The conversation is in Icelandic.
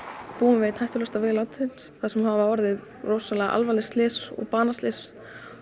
búum við einn hættulegasta veg landsins þar sem hafa orðið rosalega alvarlega slys banaslys